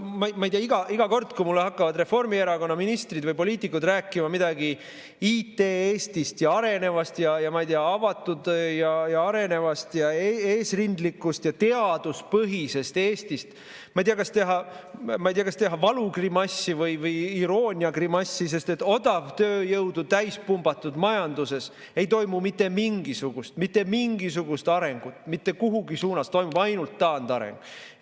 Iga kord, kui mulle hakkavad Reformierakonna ministrid või poliitikud rääkima midagi IT-Eestist ja arenevast, avatud, eesrindlikust ning teaduspõhisest Eestist, ma ei tea, kas teha valugrimassi või irooniagrimassi, sest et odavtööjõudu täispumbatud majanduses ei toimu mitte mingisugust arengut mitte mingis suunas, toimub ainult taandareng.